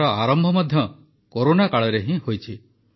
ଏହାର ଆରମ୍ଭ ମଧ୍ୟ କରୋନା କାଳରେ ହିଁ ହୋଇଛି